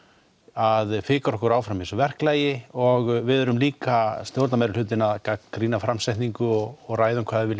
að fikra okkur áfram í þessu verklagi og við erum líka stjórnarmeirihlutinn að gagnrýna framsetningu og ræða hvað við